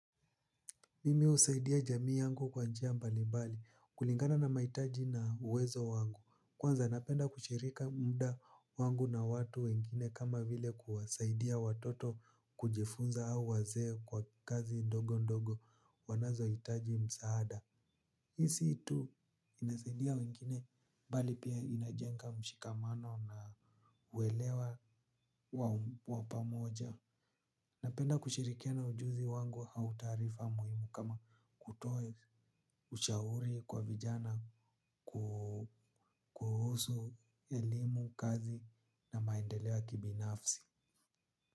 Mimi husaidia jamii yangu kwa njia mbali mbali, kulingana na mahitaji na uwezo wangu. Kwanza napenda kushirika muda wangu na watu wengine kama vile kuwasaidia watoto kujifunza au wazee kwa kazi ndogo ndogo wanazohitaji msaada. Hii si tu inasaidia wengine bali pia inajenga mshikamano na uwelewa wa pamoja. Napenda kushirikiana ujuzi wangu au taarifa muhimu kama kutoa ushauri kwa vijana kuhusu elimu kazi na maendeleo ya kibinafsi.